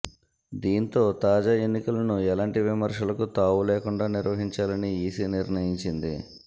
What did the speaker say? దీంతో తాజా ఎన్నికలను ఎలాంటి విమర్శలకు తావులేకుండా నిర్వహించాలని ఈసీ నిర్ణయించింది